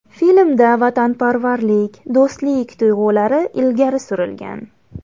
Filmda vatanparvarlik, do‘stlik tuyg‘ulari ilgari surilgan.